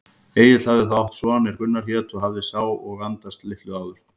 Egill hafði þá átt son er Gunnar hét og hafði sá og andast litlu áður.